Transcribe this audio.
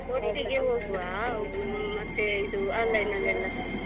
ಒಟ್ಟಿಗೆ ಹೋಗ್ವಾ ಮತ್ತೆ ಇದು online ಅಲ್ಲೆಲ್ಲ.